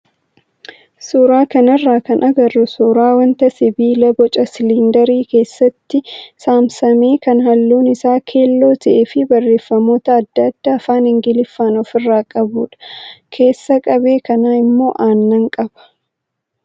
Suuraa kanarraa kan agarru suuraa wanta sibiila boca siliindarii keessatti saamsamame kan halluun isaa keelloo ta'ee fi barreeffamoota adda addaa afaan ingiliffaan ofirraa qabudha. Keessa qabee kanaa immoo aannan qaba.